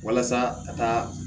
Walasa ka taa